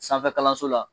Sanfɛ kalanso la